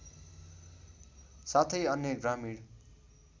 साथै अन्य ग्रामीण